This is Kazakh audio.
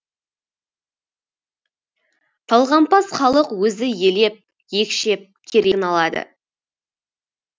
талғампаз халық өзі елеп екшеп керегін алады